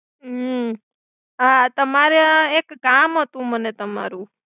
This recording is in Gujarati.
હુ આ તમારે આ એક કામ હતુ મને તમારુ.